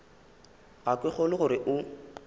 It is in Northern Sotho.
ga ke kgolwe gore o